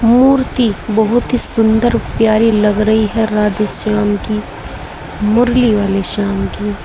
मूर्ति बहुत ही सुंदर प्यारी लग रही है राधेश्याम की मुरली वाले श्याम की।